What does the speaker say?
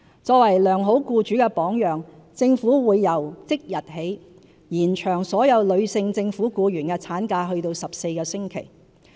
作為良好僱主的榜樣，政府會由即日起延長所有女性政府僱員的產假至14星期。